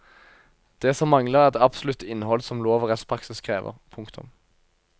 Det som mangler er det absolutte innhold som lov og rettspraksis krever. punktum